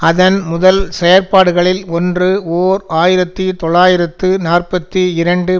அதன் முதல் செயற்பாடுகளில் ஒன்று ஓர் ஆயிரத்தி தொள்ளாயிரத்து நாற்பத்தி இரண்டு